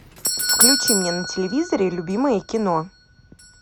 включи мне на телевизоре любимое кино